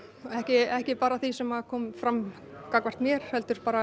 ekki ekki bara því sem kom fram gagnvart mér heldur